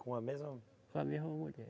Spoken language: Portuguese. Com a mesma. Com a mesma mulher.